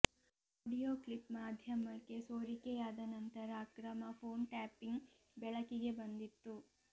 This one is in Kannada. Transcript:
ಆಡಿಯೋ ಕ್ಲಿಪ್ ಮಾಧ್ಯಮಕ್ಕೆ ಸೋರಿಕೆಯಾದ ನಂತರ ಅಕ್ರಮ ಫೋನ್ ಟ್ಯಾಪಿಂಗ್ ಬೆಳಕಿಗೆ ಬಂದಿತ್ತು